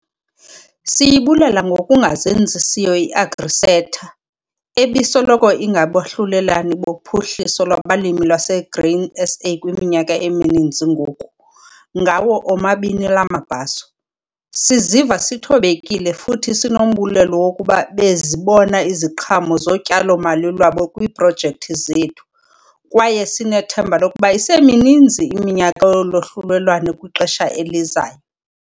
Siyibulela ngokungazenzisiyo iAgriSeta, ebisoloko ingabahlulelane boPhuhliso lwabaLimi lwaseGrain SA kwiminyaka emininzi ngoku, ngawo omabini la mabhaso. Siziva sithobekile futhi sinombulelo wokuba bezibona iziqhamo zotyalo-mali lwabo kwiiprojekthi zethu kwaye sinethemba lokuba isemininzi iminyaka yolwahlulelwano kwixesha elizayo.